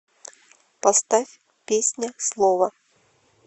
поставь песня слово